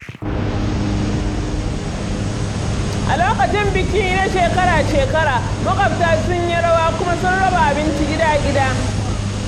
A lokacin biki na shekara-shekara, maƙwabta sun yi rawa kuma sun raba abinci gida-gida.